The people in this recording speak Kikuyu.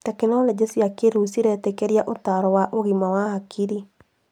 Tekinoronjĩ cia kĩrĩu ciretĩkĩria ũtaaro wa ũgima wa hakiri